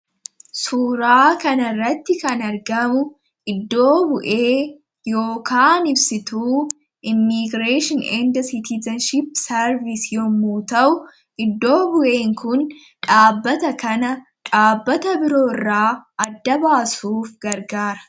suuraa kan irratti kan argamu iddoo bu'ee yookaa ibsituu immiigireethian inda sitizanship sarvis yommuu ta'u iddoo bu'ee kun dhaabbata kana dhaabbata biroo irra adda baasuuf gargaara